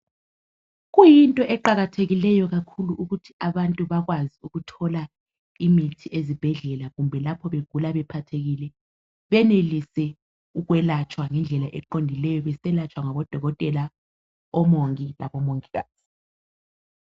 Kuyinto eqakathekileyo kakhulu ukuthi abantu bekwazi ukuthola imithi ezibhedlela kumbe lapho begula bephathekile benelise ukwelatshwa ngendlela eqondileyo beselatshwa ngabo dokotela labo mongikazi.